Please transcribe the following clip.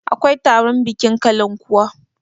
akwai taron bikin kalan kuwa